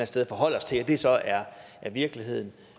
sted forholde os til at det så er virkeligheden